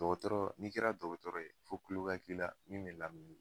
Dɔgɔtɔrɔ n'i kɛra dɔgɔtɔrɔ ye fo kulo ka k'ila min me lamɛli kɛ